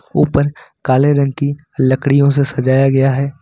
ऊपर काले रंग की लड़कियों से सजाया गया है।